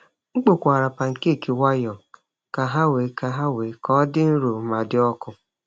M kpokwara pancake nwayọọ ka ha wee ka ha wee ka dị nro ma dị ọkụ.